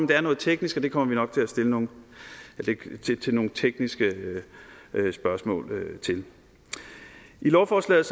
det er noget teknisk og det kommer vi nok til at stille nogle lidt tekniske spørgsmål til i lovforslaget